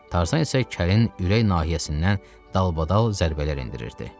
Tarzan isə kəlin ürək nahiyəsindən dalbadal zərbələr endirirdi.